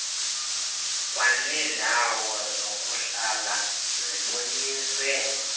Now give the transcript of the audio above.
kwaneendawo zokuhlala ziboniswe